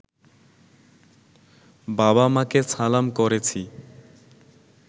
বাবা-মাকে সালাম করেছি